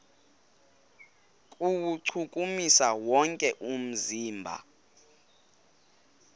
kuwuchukumisa wonke umzimba